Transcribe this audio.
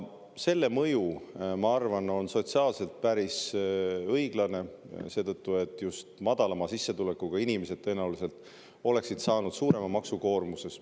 Selle mõju, ma arvan, on sotsiaalselt päris õiglane seetõttu, et just madalama sissetulekuga inimesed tõenäoliselt oleksid saanud suurema maksukoormuse.